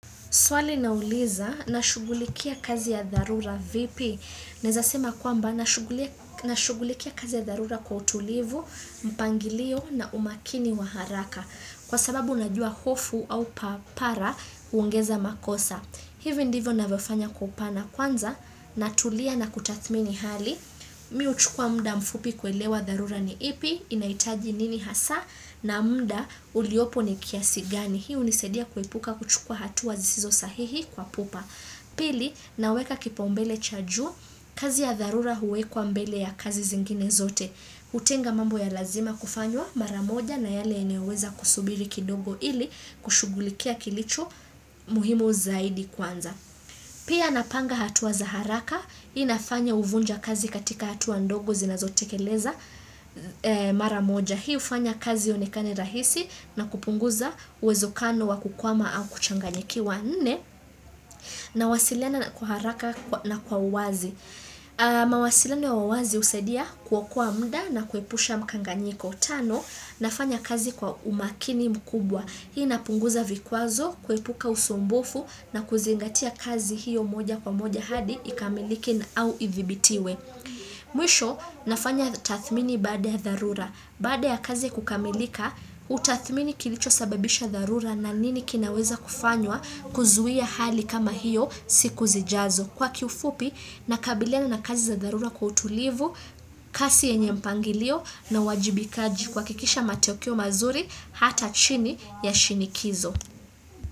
Swali nauliza, nashugulikia kazi ya dharura vipi? Nezasema kwamba, nashugulikia kazi ya dharura kwa utulivu, mpangilio na umakini wa haraka. Kwa sababu unajua hofu au papara huongeza makosa. Hivyo ndivyo navofanya kupana kwanza, natulia na kutathmini hali. Mi uchukua mda mfupi kuelewa dharura ni ipi, inaitaji nini hasa, na mda uliopo ni kiasigani. Hii hunisaidia kuepuka kuchukua hatua sizo sahihi kwa pupa Pili naweka kipaumbele chajuu kazi ya tharura huwekwa mbele ya kazi zingine zote Utenga mambo ya lazima kufanywa maramoja na yale eneweza kusubiri kidogo ili kushugulikia kilicho muhimu zaidi kwanza Pia napanga hatua zaharaka Hii inafanya uvunja kazi katika hatua ndogo zinazotekeleza maramoja Hii ufanya kazi yonekane rahisi na kupunguza uwezo kano wa kukwama au kuchanganyikiwa nne na wasiliana kwa haraka na kwa uwazi. Mawasiliana wa uwazi husadia kwa kwa mda na kuepusha mkanganyiko. Tano, nafanya kazi kwa umakini mkubwa. Hii napunguza vikuazo, kuepuka usumbofu na kuzingatia kazi hiyo moja kwa moja hadi ikamilike na au ivibitiwe. Mwisho, nafanya tathmini baada ya dharura. Bada ya kazi kukamilika, utathmini kilicho sababisha dharura na nini kinaweza kufanywa kuzuia hali kama hiyo siku zijazo. Kwa kufupi, nakabiliana na kazi za dharura kwa utulivu, kasi yenye mpangilio na wajibikaji kwa kikisha matokeo mazuri hata chini ya shinikizo.